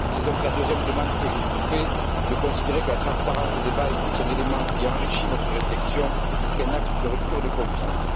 C'est donc la deuxième demande que je vous fais de considérer que la transparence des débats est plus un élément qui enrichit votre réflexion qu'un acte de rupture de confiance.